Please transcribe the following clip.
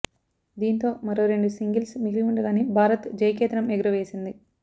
దీంతో మరో రెండు సింగిల్స్ మిగిలి ఉండగానే భారత్ జయకేతనం ఎగుర వేసింది